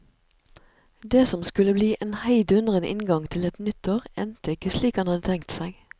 Det som skulle bli en heidundrende inngang til et nytt år, endte ikke slik han hadde tenkt seg.